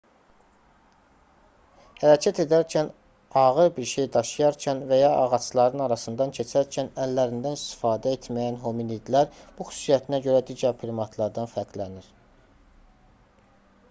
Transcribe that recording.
hərəkət edərkən ağır bir şey daşıyarkən və ya ağacların arasından keçərkən əllərindən istifadə etməyən hominidlər bu xüsusiyyətinə görə digər primatlardan fərqlənir